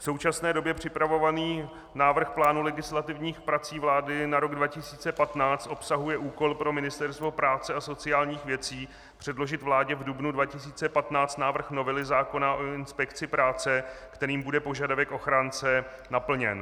V současné době připravovaný návrh plánu legislativních prací vlády na rok 2015 obsahuje úkol pro Ministerstvo práce a sociálních věcí předložit vládě v dubnu 2015 návrh novely zákona o inspekci práce, kterým bude požadavek ochránce naplněn.